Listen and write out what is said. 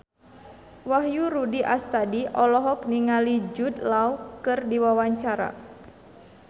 Wahyu Rudi Astadi olohok ningali Jude Law keur diwawancara